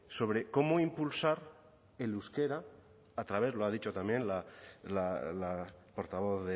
sobre cómo impulsar el euskera a través lo ha dicho también la portavoz